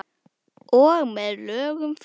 Og með lögum frá